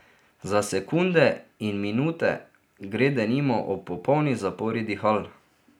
Za sekunde in minute gre denimo ob popolni zapori dihal.